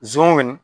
Zon kɔni